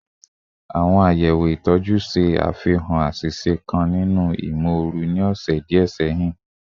Awọn sọwedowo itọju ṣe afihan aṣiṣe kan ninu imooru ni ọsẹ diẹ sẹhin